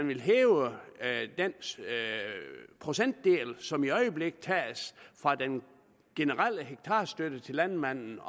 vil hæve den procentdel som i øjeblikket tages fra den generelle hektarstøtte til landmændene